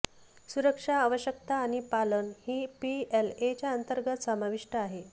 सुरक्षा आवश्यकता आणि पालन ही पीएलए च्या अंतर्गत समाविष्ट आहे